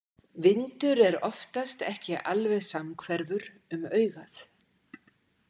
Vindur er oftast ekki alveg samhverfur um augað.